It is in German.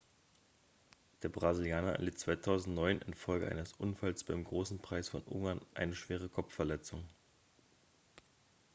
der brasilianer erlitt 2009 infolge eines unfalls beim großen preis von ungarn eine schwere kopfverletzung